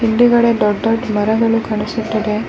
ಹಿಂದೆಗಡೆ ದೊಡ್ಡ್ ದೊಡ್ಡ್ ಮರಗಳು ಕಾಣಿಸುತ್ತದೆ .